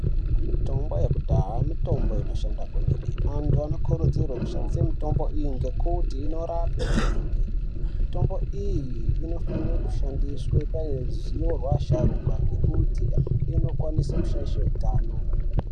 Mitombo yekudhaya mitombo inoshanda kwemene vantu vanokurudzirwa kushandisa mitombo iyi ngekuti inorapa kwemene mitombo iyi inofana kushandiswa paruzivo rwevasharukwa ngekuti inokwanisa kushaisha hutano.